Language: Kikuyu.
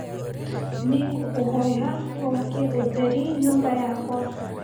nĩ ngũkũhoya wakie ũtheri nyũmba yakwa.